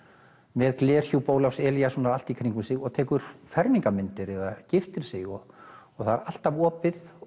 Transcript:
með glerhjúp Ólafs Elíassonar allt í kringum sig og tekur fermingarmyndir eða giftir sig og það er alltaf opið og